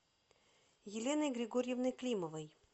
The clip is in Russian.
еленой григорьевной климовой